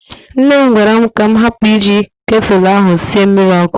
Nne m gwara m ka m hapụ iji ketụlụ ahụ sie mmiri ọkụ.